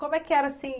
Como é que era, assim,